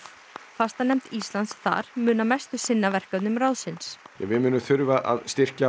fastanefnd Íslands þar mun að mestu sinna verkefnum ráðsins við munum þurfa að styrkja